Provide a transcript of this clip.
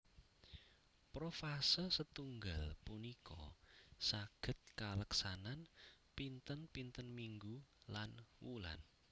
Profase setunggal punika saged kaleksanan pinten pinten minggu lan wulan